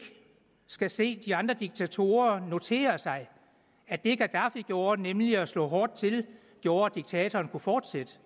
skal se de andre diktatorer notere sig at det gaddafi gjorde nemlig at slå hårdt til gjorde at diktatoren kunne fortsætte